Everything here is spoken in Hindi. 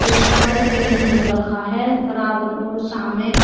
उस पर पेंट हो रखा है बराबर और सामने--